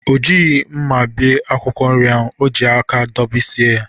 O jighi mma bie akwụkwọ nri ahụ. O ji aka dọbisie ya.